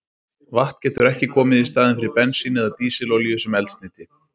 Vatn getur ekki komið í staðinn fyrir bensín eða dísilolíu sem eldsneyti.